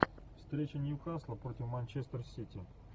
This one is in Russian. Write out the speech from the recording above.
встреча ньюкасла против манчестер сити